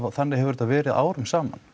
og þannig hefur þetta verið árum saman